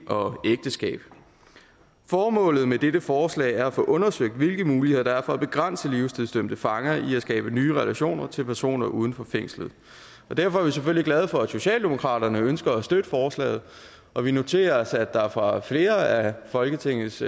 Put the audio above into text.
og ægteskab formålet med dette forslag er at få undersøgt hvilke muligheder der er for at begrænse livstidsdømte fanger i at skabe nye relationer til personer uden for fængslet derfor er vi selvfølgelig glade for at socialdemokratiet ønsker at støtte forslaget og vi noterer os at der fra flere af folketingets